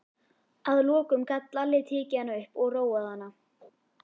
Að lokum gat Lalli tekið hana upp og róað hana.